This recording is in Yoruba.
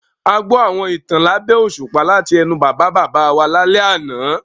A gbọ́ àwọn ìtàn lábẹ́ òṣùpá láti ẹnu Bàbá-bàbá wa lálẹ́ àná.